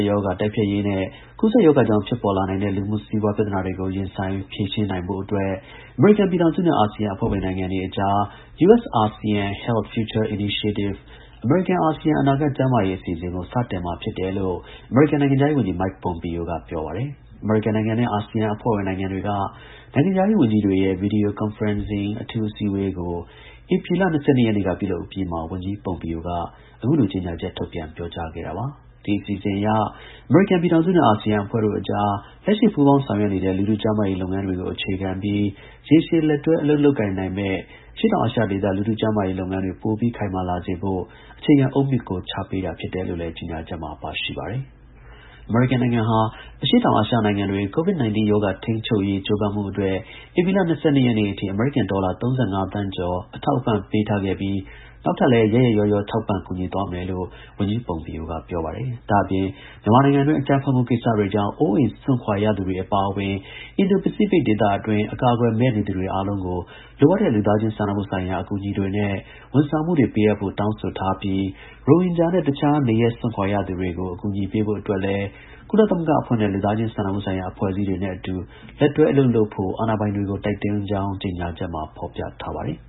ရောဂါ တိုက်ဖျက်ရေးနဲ့ ကူးစက်ရောဂါကြောင့် ဖြစ်ပေါ်လာနိုင်တဲ့ လူမှု-စီးပွား ပြဿနာတွေကို ရင်ဆိုင် ဖြေရှင်း ရေးအတွက် အမေရိကန်ပြည်ထောင်စုနဲ့ အာဆီယံအဖွဲ့ဝင် နိုင်ငံတွေအကြား US-ASEAN Health Future Initiative အမေရိကန်-အာဆီယံ အနာဂတ် ကျန်းမာရေး အစီအစဉ်ကို စတင်မှာ ဖြစ်တယ် လို့ အမေရိကန် နိုင်ငံခြားရေး ဝန်ကြီး Mike Pompeo က ပြော ပါတယ်။ အမေရိကန်နိုင်ငံနဲ့ အာဆီယံအဖွဲ့ဝင်နိုင်ငံတွေက နိုင်ငံခြားရေး ဝန်ကြီးတွေရဲ့ Video Conferencing အထူးအစည်းအဝေး ကို ဧပြီလ ၂၂ နေ့က ပြုလုပ်အပြီးမှာ ဝန်ကြီး Pompeo က အခုလို ကြေညာချက်ထုတ်ပြန် ပြောကြားခဲ့တာပါ။ ဒီအစီအစဉ်အရ အမေရိကန်ပြည်ထောင်စုနဲ့ အာဆီယံအဖွဲ့တို့အကြား လက်ရှိ ပူးပေါင်းဆောင်ရွက် နေတဲ့ လူထု ကျန်းမာရေး လုပ်ငန်း တွေကို အခြေခံပြီး ရေရှည် လက်တွဲ အလုပ်လုပ်ကိုင်နိုင်မယ့် အရှေ့တောင်အာရှဒေသ လူထု ကျန်းမာရေးလုပ်ငန်းတွေ ပိုပြီး ခိုင်မာလာ စေဖို့ အခြေခံ အုတ်မြစ်ကို ချပေးတာဖြစ်တယ်လို့လည်း ကြေညာချက်မှာ ပါရှိ ပါတယ်။ အမေရိကန်နိုင်ငံဟာ အရှေ့တောင်အာရှနိုင်ငံ တွေ COVID-19 ရောဂါထိန်းချုပ်ရေးကြိုးပမ်းမှုအတွက် ဧပြီလ ၂၂ ရက်နေ့အထိ အမေရိကန်ဒေါ်လာ ၃၅ သန်းကျော် အထောက်အပံ့ပေး ထားခဲ့ပြီး နောက်ထပ် လည်း ရက်ရက်ရောရော ထောက်ပံ့ ကူညီသွားမယ်လို့ ဝန်ကြီး Pompeo က ပြောပါတယ်။ ဒါ့အပြင် မြန်မာနိုင်ငံအတွင်း အကြမ်းဖက်မှုကိစ္စတွေကြောင့် အိုးအိမ်စွန့်ခွာရသူတွေ အပါအဝင်အင်ဒို ပစိဖိတ်ဒေသအတွင်း အကာ အကွယ်မဲ့ နေသူတွေအားလုံးကို လိုအပ်တဲ့ လူသားချင်းစာနာမှုဆိုင်ရာ အကူအညီတွေနဲ့ ဝန်ဆောင်မှုတွေ ပေးအပ်ဖို့ တောင်းဆိုထားပြီး ရိုဟင်ဂျာနဲ့ တစ်ခြား နေရပ်စွန့်ခွာရသူတွေကို အကူအညီပေးဖို့အတွက်လည်း ကုလသမဂ္ဂအဖွဲ့နဲ့ လူသားချင်းစာနာမှုဆိုင်ရာ အဖွဲ့အစည်း တွေနဲ့ အတူ လက်တွဲ အလုပ်လုပ်ဖို့ အာဏာပိုင်တွေကို တိုက်တွန်းကြောင်း ကြေညာချက်မှာ ဖော်ပြထားပါတယ်။